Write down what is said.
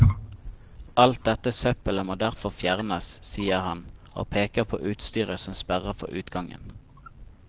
Alt dette søppelet må derfor fjernes, sier han, og peker på utstyret som sperrer for utgangen.